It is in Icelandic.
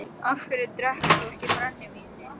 Af hverju drekkur þú ekki brennivínið?